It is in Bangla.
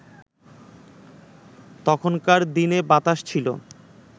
তখনকার দিনে বাতাস ছিল